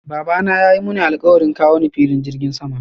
Babana yayi Muni alkawarin kawo ni filin jirgin sama.